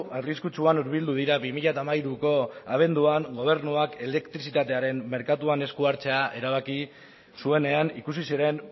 arriskutsuan urbildu dira bi mila hamairuko abenduan gobernuak elektrizitatearen merkatuan eskuhartzea erabaki zuenean ikusi ziren